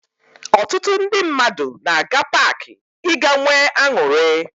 Ọtụtụ ndị mmadụ na-aga paakị ịga nwee aṅụrị